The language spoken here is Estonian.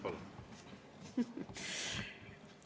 Palun!